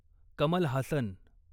Kamal Haasan